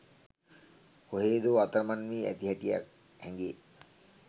කොහේදෝ අතරමන් වී ඇති හැටියක් හැඟෙ.